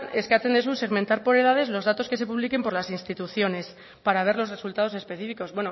eskatzen duzu segmentar por edades los datos que se publiquen por las instituciones para ver los resultados específicos